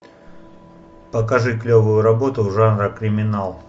покажи клевую работу жанра криминал